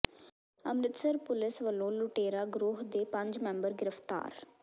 Amritsar police ਵੱਲੋਂ ਲੁਟੇਰਾ ਗਰੋਹ ਦੇ ਪੰਜ ਮੈਂਬਰ ਗ੍ਰਿਫ਼ਤਾਰ